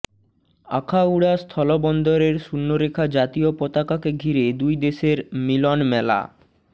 আখাউড়া স্থলবন্দরের শূন্যরেখা জাতীয় পতাকাকে ঘিরে দুই দেশের মিলনমেলা